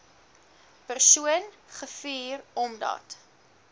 persone gevuur omdat